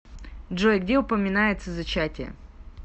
джой где упоминается зачатие